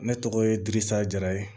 Ne tɔgɔ ye dirisa jara ye